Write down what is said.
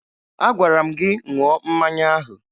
Agwara m gị ṅụọ mmanya ahụ!